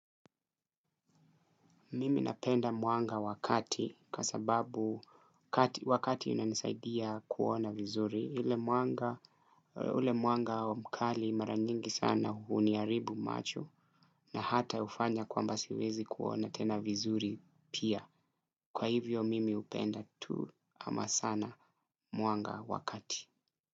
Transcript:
Mimi napenda mwanga wakati kwa sababu wa kati unanisaidia kuona vizuri, ule mwanga mkali mara nyingi sana huniharibu sana na hata hufanya kwamba siezi kuona tena vizuri pia kwa hivyo mimi hupenda tu ama sana mwanga wa kati.